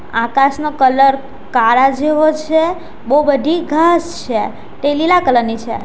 આકાશનો colour કાળા જેવો છે બઉ બધી ઘાસ છે તે લીલા કલર ની છે.